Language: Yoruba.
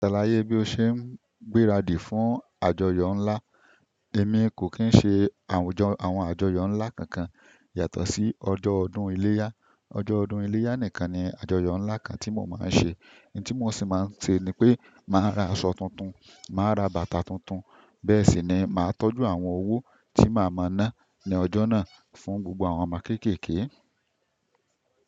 Salaye bí ó ṣe ń gbéradì fún àjọyọ̀ ńlá. Émi kò kín ṣe àwọn àjọyọ̀ ńlá kankan yàtọ̀ sí ọjọ́ ọdún iléyá. Ọjọ́ ọdún iléyá nìkan ni àjọyọ̀ ńlá kan tí mo máa ń ṣe. Ohun tí mo sì máa ń ṣe ni pé màá ra aṣọ tuntun, màá ra bàtà tuntun bẹ́ẹ̀ sì ni màá tọ́jú àwọn owó tí màá máa ná ní ọjọ́ náà fún gbogbo àwọn ọmọ kéékèèké.